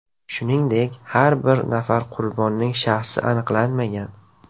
Shuningdek, yana bir nafar qurbonning shaxsi aniqlanmagan.